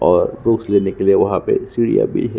और बुक्स लेने के लिए वहा पर सीढियाँ भी है।